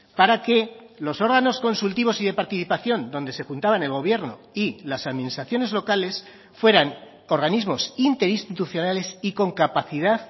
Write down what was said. para que los órganos consultivos y de participación donde se juntaban el gobierno y las administraciones locales fueran organismos interinstitucionales y con capacidad